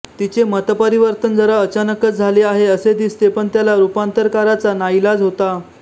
तिचे मतपरिवर्तन जरा अचानकच झाले आहे असे दिसते पण त्याला रूपांतरकाराचा नाईलाज होता